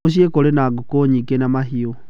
Muciĩ kũrĩ na ngũkũ nyingĩ na mahiũ.